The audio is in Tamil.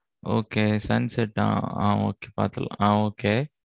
okay sunset ஆ okay பாத்ரலாம் ஆ okay